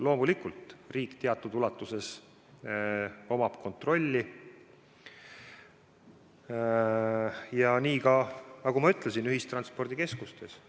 Loomulikult on riigil teatud ulatuses kontroll ja nii ka, nagu ma ütlesin, ühistranspordikeskustes.